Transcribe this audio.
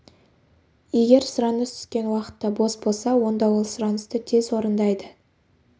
егер сұраныс түскен уақытта бос болса онда ол сұранысты тез орындайды